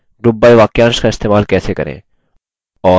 group by वाक्यांश का इस्तेमाल करें